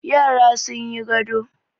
Yara sun yi gado.